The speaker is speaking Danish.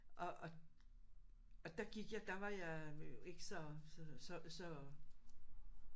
Og og og der gik jeg der var jeg jo ikke så så så